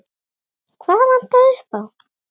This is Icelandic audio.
Hvað vantaði upp á?